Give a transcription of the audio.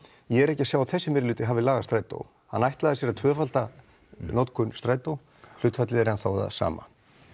ég er ekki að sjá að þessi meirihluti hafi lagað strætó hann ætlaði sér að tvöfalda notkun strætó hlutfallið er ennþá það sama